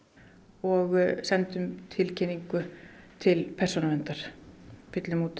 og sendum tilkynningu til persónuverndar fyllum út